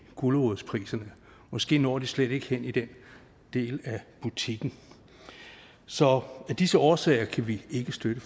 gulerodspriserne måske når de slet ikke hen i den del af butikken så af disse årsager kan vi ikke støtte